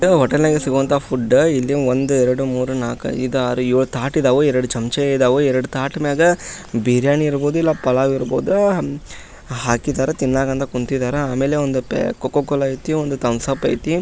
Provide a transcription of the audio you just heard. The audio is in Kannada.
ಇದು ಹೋಟೆಲ್ ನಲ್ಲಿ ಸಿಗುವಂತಹ ಫುಡ್ ಇಲ್ಲಿ ಒಂದು ಎರಡು ಮೂರು ನಾಲ್ಕು ಐದು ಆರು ಏಳು ತಾಟಿದವು ಎರಡು ಚಮಚ ಇದಾವು ಎರಡು ತಾಟ್ ಮೆಗಾ ಬಿರಿಯಾನಿ ಇರಬಹುದು ಇಲ್ಲ ಪಲಾವ್ ಇರ್ಬಹುದಾ ಆಹ್ ಹಾಕಿದರೆ ತಿನ್ನೋಕಂತ ಕುಂತಿದಾರ ಆಮೇಲೆ ಪೆಪ್ ಒಂದು ಕೋಕೋ ಕೋಲಾ ಐತಿ ಒಂದು ಥಂಬ್ಸ್ ಅಪ್ ಐತಿ.